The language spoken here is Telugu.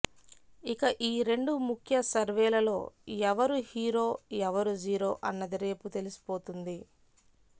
ఇక ఈ రెండు ముఖ్య సర్వేలలో ఎవరు హీరో ఎవరు జీరో అన్నది రేపు తెలిసిపోతుంది